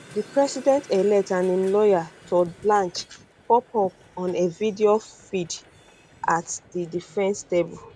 di presidentelect and im lawyer todd blanche pop up on a video feed at di defence um table